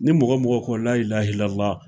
Ni mɔgɔ min ko lailaha ilala